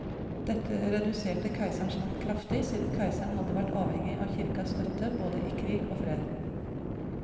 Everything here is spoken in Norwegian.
Dette reduserte keiserens makt kraftig, siden keiseren hadde vært avhengig av kirkas støtte både i krig og fred.